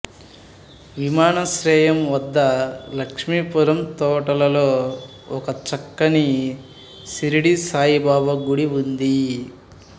విమానాశ్రయం వద్ద లక్ష్మీపురం తోటలలో ఒక చక్కనిషిర్డీ సాయిబాబా గుడి ఉంది